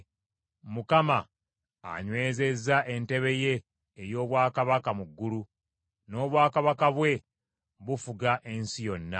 Mukama anywezezza entebe ye ey’obwakabaka mu ggulu, n’obwakabaka bwe bufuga ensi yonna.